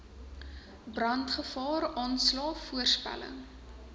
brandgevaar aanslae voorspellings